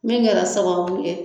Min kɛra sababu ye.